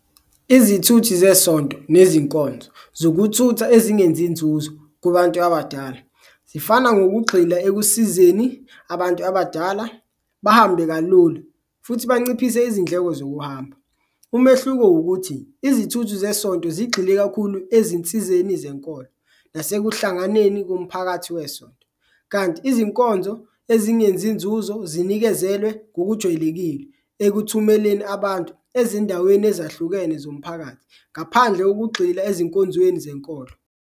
Izithuthi zesonto nezinkonzo zokuthutha ezingenzi nzuzo kubantu abadala zifana ngokugxila ekusizeni abantu abadala bahambe kalula futhi banciphise izindleko zokuhamba. Umehluko wukuthi izithuthu zesonto zigxile kakhulu ezinsizeni zenkolo nasekuhlanganiseni komphakathi wesonto, kanti izinkonzo ezingenzi inzuzo zinikezelwe ngokujwayelekile ekuthumeleni abantu ezindaweni ezahlukene zomphakathi, ngaphandle kokugxila ezinkonzweni zenkolo.